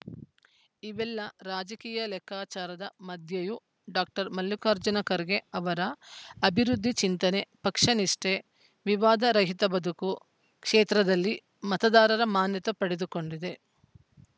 ಇವೆಲ್ಲ ರಾಜಕೀಯ ಲೆಕ್ಕಾಚಾರದ ಮಧ್ಯೆಯೂ ಡಾಕ್ಟರ್ ಮಲ್ಲಿಕಾರ್ಜುನ ಖರ್ಗೆ ಅವರ ಅಭಿವೃದ್ಧಿ ಚಿಂತನೆ ಪಕ್ಷ ನಿಷ್ಠೆ ವಿವಾದ ರಹಿತ ಬದುಕು ಕ್ಷೇತ್ರದಲ್ಲಿ ಮತದಾರರ ಮಾನ್ಯತೆ ಪಡೆದುಕೊಂಡಿದೆ